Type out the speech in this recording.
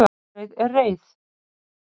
gandreið er reið